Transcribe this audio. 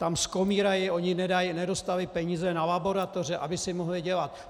Tam skomírají, oni nedostali peníze na laboratoře, aby si mohli dělat.